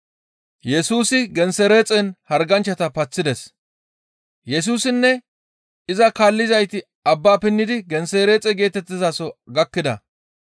Yesusinne iza kaallizayti abba pinnidi Gensereexe geetettizaso gakkida.